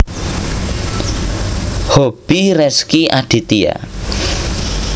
Hobi Rezky Aditya